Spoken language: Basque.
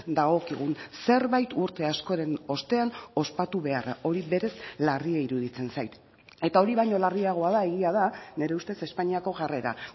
dagokigun zerbait urte askoren ostean ospatu beharra hori berez larria iruditzen zait eta hori baino larriagoa da egia da nire ustez espainiako jarrera